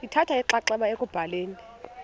lithatha inxaxheba ekubhaleni